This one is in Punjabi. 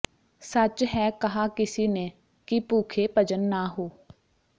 ਸੱਚ ਹੈ ਕਹਾ ਕਿਸੀ ਨੇ ਕਿ ਭੂਖੇ ਭਜਨ ਨਾ ਹੋ